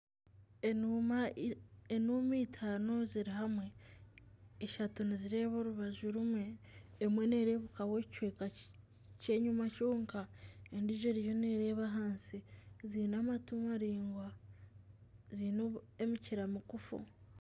Enuuma eitaano ziri hamwe ishatu nizireeba orubaju rumwe emwe nerebukaho ekicweka kyenyima kyonka endiijo eriyo nereeba ahansi ziine amatu maraingwa ziine emikira migufu.